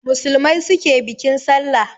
Musulmai su ke bikin Sallah.